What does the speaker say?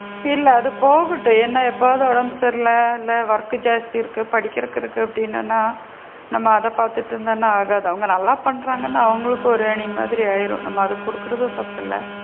இல்ல அது போகட்டும் ஏன்னா? எப்பவாது உடம்பு சரி இல்ல, இல்ல work ஜாஸ்தி இருக்கு படிக்கிறதுக்கு இருக்கு அப்படின்னா, நம்ம அது பாத்துட்டு இருந்தா ஆகாது அவுங்க நல்லா பன்றாங்கனா அவுங்களுக்கும் ஒரு earning மாதிரி ஆயிடும் நம்ம அது குடுக்குறது தப்பு இல்ல,